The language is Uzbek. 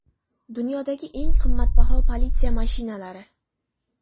Dunyodagi eng qimmatbaho politsiya mashinalari .